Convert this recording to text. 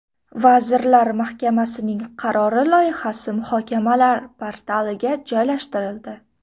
Vazirlar Mahkamasining qarori loyihasi muhokamalar portaliga joylashtirildi.